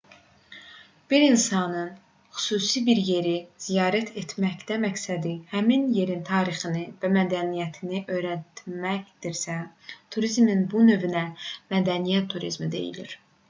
bir insanın xüsusi bir yeri ziyarət etməkdə məqsədi həmin yerin tarixini və mədəniyyətini öyrənməkdirsə turizmin bu növünə mədəniyyət turizmi deyilir